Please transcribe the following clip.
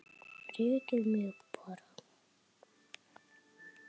Rekið mig bara!